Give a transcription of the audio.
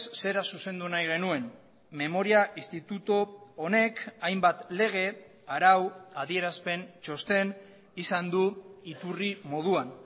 zera zuzendu nahi genuen memoria instituto honek hainbat lege arau adierazpen txosten izan du iturri moduan